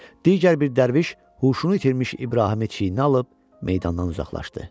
Digər bir dərviş huşunu itirmiş İbrahimi çiyininə alıb meydandan uzaqlaşdı.